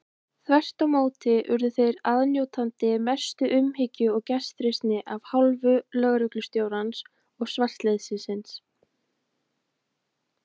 Þvert á móti urðu þeir aðnjótandi mestu umhyggju og gestrisni af hálfu lögreglustjórans og svartliðsins.